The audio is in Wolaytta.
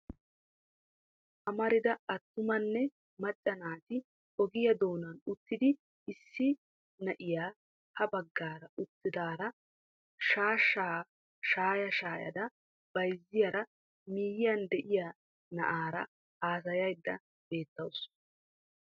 Amarida attumanne macca naati ogiyaa doonan uttidi issi na'iyaa ha baggaara uttidaara shaashshaa shaaya shaayada bayzziyaara miyiyyan de'iyaa na'aara haasayaydda beetawusu.